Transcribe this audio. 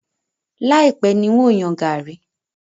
Láìpẹ̀ ni n ó yan gàrí?